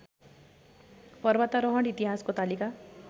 पर्वतारोहण इतिहासको तालिका